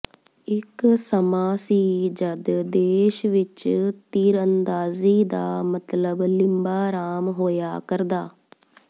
ਇਕ ਸਮਾਂ ਸੀ ਜਦ ਦੇਸ਼ ਵਿਚ ਤੀਰਅੰਦਾਜ਼ੀ ਦਾ ਮਤਲਬ ਲਿੰਬਾ ਰਾਮ ਹੋਇਆ ਕਰਦਾ